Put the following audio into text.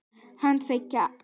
Hann var tveggja ára.